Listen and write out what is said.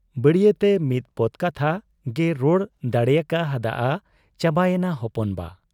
ᱵᱟᱹᱲᱤᱭᱟᱹᱛᱮ ᱢᱤᱫ ᱯᱚᱫᱽ ᱠᱟᱛᱷᱟ ᱜᱮᱭ ᱨᱚᱲ ᱫᱟᱲᱮᱭᱟᱠᱟ ᱦᱟᱫ ᱟ, ᱪᱟᱵᱟᱭᱮᱱᱟ ᱦᱚᱯᱚᱱ ᱵᱟ !